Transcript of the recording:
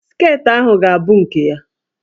Sket ahụ ga-abụ nke ya!